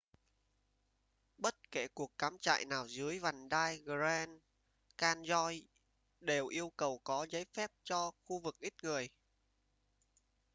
bất kể cuộc cắm trại nào dưới vành đai grand canyon đều yêu cầu có giấy phép cho khu vực ít người